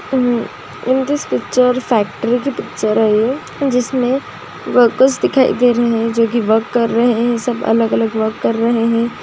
Hmm in this picture factory picture है जिसमे workers दिखाई दे रहे है जो की वर्क कर रहे है सब अलग-अलग वर्क कर रहे है।